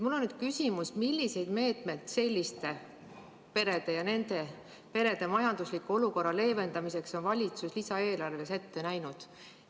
Mul on küsimus: millised meetmed selliste perede ja nende majandusliku olukorra leevendamiseks on valitsus lisaeelarves ette näinud?